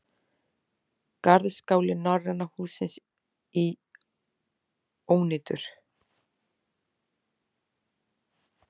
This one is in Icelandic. Garðskáli Norræna hússins í ónýtur